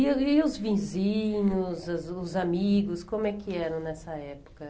E e os vizinhos, o os os amigos, como é que eram nessa época?